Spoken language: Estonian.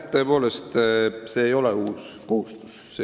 Tõepoolest, see ei ole uus kohustus.